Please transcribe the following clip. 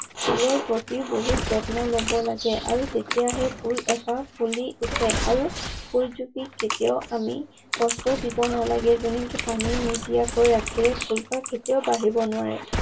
ফুলৰ প্ৰতি বহুত যত্ন ল'ব লাগে। আৰু তেতিয়াহে ফুল এপাহ ফুলি উঠে। আৰু ফুল জুপি কেতিয়াও আমি কষ্ট দিব নালাগে যেনেঁকে পানী নিদিয়াকৈ ৰাখিলে ফুলপাহ কেতিয়াও বাঢ়িব নোৱাৰোঁ।